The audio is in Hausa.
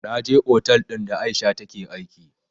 Na je otal ɗin da aisha take aiki